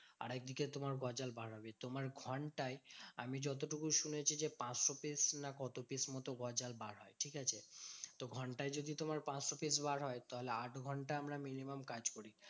আরেকদিকে তোমার গজাল বার হবে। তোমার ঘন্টায় আমি যতটুকু শুনেছি যে, পাঁচশো piece না কত piece মতো গজাল বার হবে, ঠিকাছে? তো ঘন্টায় যদি তোমার পাঁচশো piece বার হয়, তাহলে আট ঘন্টা আমরা minimum কাজ করি